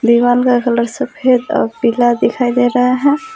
दीवाल का कलर सफेद और पीला दिखाई दे रहा है।